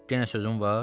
Yenə sözün var?